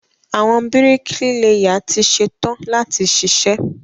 Àwọn bíríkílẹ́yà ti ṣẹtan láti ṣiṣẹ́.